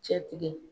Cɛ tigɛ